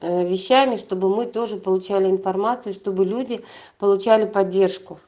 э вещами чтобы мы тоже получали информацию чтобы люди получали поддержку